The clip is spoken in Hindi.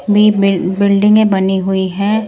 भी बिल्डिंगे बनी हुई है।